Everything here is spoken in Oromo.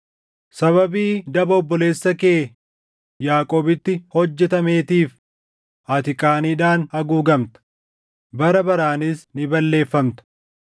Sababii daba obboleessa kee Yaaqoobitti hojjetameetiif ati qaaniidhaan haguugamta; bara baraanis ni balleeffamta.